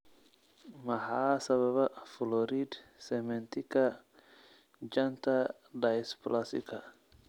Maxaa sababa florid cementika janta dysplasika?